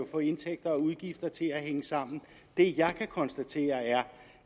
få indtægter og udgifter til at hænge sammen det jeg kan konstatere er